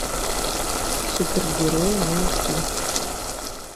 супергерои найти